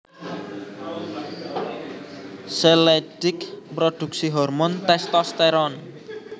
Sel Leydig mrodhuksi hormon testosteron